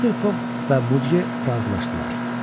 Mister Foq və Mudqe razılaşdılar.